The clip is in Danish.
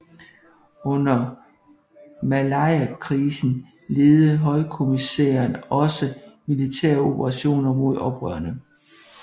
Under Malayakrisen ledede høykommissæren også militæroperationerne mod oprørerne